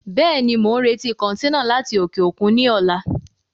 Bẹ́ẹ̀ni, mo ń retí kọntẹ́ẹ́nà láti òkè òkun ni ọ̀la.